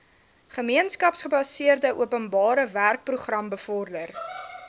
gemeenskapsgebaseerde openbarewerkeprogram bevorder